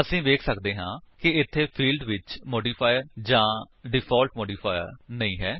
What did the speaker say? ਅਸੀ ਵੇਖ ਸੱਕਦੇ ਹਾਂ ਕਿ ਇੱਥੇ ਫੀਲਡਜ਼ ਵਿੱਚ ਮੋਡੀਫਾਇਰ ਜਾਂ ਡਿਫਾਲਟ ਮੋਡੀਫਾਇਰ ਨਹੀਂ ਹੈ